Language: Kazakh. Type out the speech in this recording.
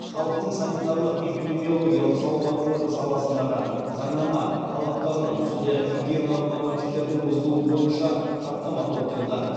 халықтың санитарлық эпидемиологиялық салауаттылығы саласындағы заңнама талаптарының сондай ақ гигиеналық нормативтердің бұзылуы бойынша хаттама толтырды